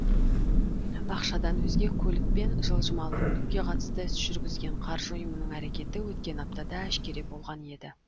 ақшадан өзге көлік пен жылжымалы мүлікке қатысты іс жүргізген қаржы ұйымының әрекеті өткен аптада әшкере болған еді